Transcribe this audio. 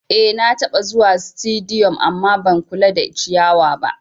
Eh nataba zuwa situdiyu amma ban kula da ciyawa ba